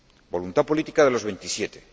Voluntad política de los Veintisiete.